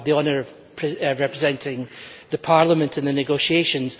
to have the honour of representing Parliament in the negotiations.